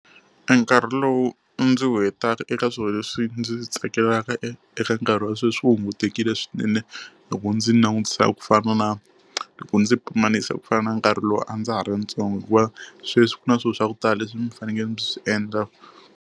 E nkarhi lowu ndzi wu hetaka eka swilo leswi ndzi swi tsakelaka eka nkarhi wa sweswi wu hungutekile swinene, loko ndzi langutisa ku fana na loko ndzi pimanisa ku fana na nkarhi lowu a ndza ha ri ntsongo. Hikuva sweswi ku na swilo swa ku tala leswi ni fanekele ndzi swi endla.